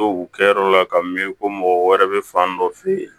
To u kɛyɔrɔ la ka mi ko mɔgɔ wɛrɛ bɛ fan dɔ fɛ